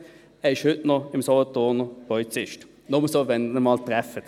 Er ist heute noch Solothurner Polizist, falls Sie ihn einmal treffen.